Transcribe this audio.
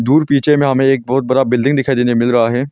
दूर पीछे में हमे एक बहुत बड़ा बिल्डिंग दिखाई देने मिल रहा है।